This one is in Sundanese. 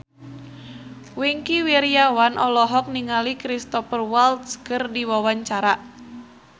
Wingky Wiryawan olohok ningali Cristhoper Waltz keur diwawancara